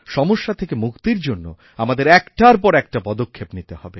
সমস্যা থেকে মুক্তির জন্য আমাদের একটার পর একটা পদক্ষেপ নিতে হবে